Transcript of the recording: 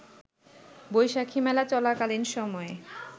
বৈশাখি মেলা চলাকালীন সময়ে